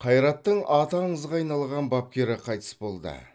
қайраттың аты аңызға айналған бапкері қайтыс болды